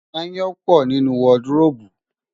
Aáyán pọ̀ nínú wọdıróòbù.